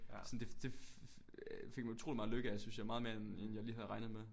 Sådan det det fik man utrolig meget lykke af synes jeg meget mere end jeg lige havde regnet med